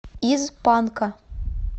из панка